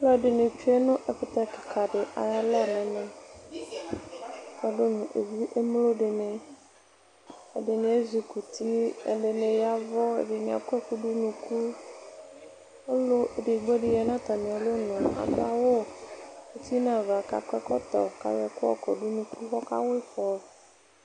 Alʋɛdɩnɩ tsue nʋ ɛkʋtɛ kɩka dɩ ay''alɔ n'ɛmɛ kpɔdʋ nʋ emlo dɩnɩ, ɛdɩnɩ ezi kɔ uti, ɛdɩnɩ yavʋ, ɛdɩnɩ akɔ ɛkʋ dʋ n'unuku Ɔlʋ edigbo dɩ ya nʋ atamialɔ nʋ k'adʋ awʋ uti n'ava, k'akɔ ɛkɔtɔ, k'ayɔ ɛkʋ yɔkɔdʋ n'unuku k'ɔka wa ɩfɔ